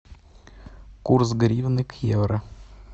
курс гривны к евро